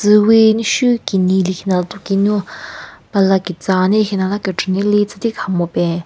Tsüwi mushu kenyi lekhinala tuki nu pala ketsa wa ne lekhinala kechü nile tsütikaha mupen.